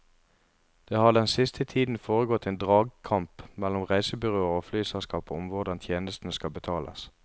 Det har den siste tiden foregått en dragkamp mellom reisebyråer og flyselskaper om hvordan tjenestene skal betales.